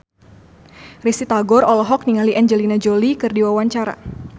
Risty Tagor olohok ningali Angelina Jolie keur diwawancara